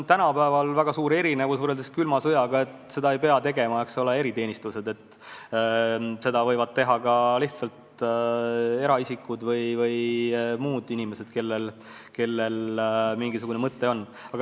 Tänapäeval on väga suur erinevus võrreldes külma sõja ajaga see, et seda ei pea tegema eriteenistused, seda võivad teha ka eraisikud või muud inimesed, kellel mingisugune tagamõte on.